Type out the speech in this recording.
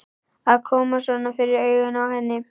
Að koma svona fyrir augun á henni.